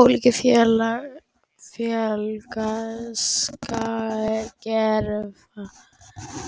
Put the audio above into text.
Ólík félagskerfi skíðishvala og tannhvala eru að mestu mótuð af lifnaðarháttum þeirra og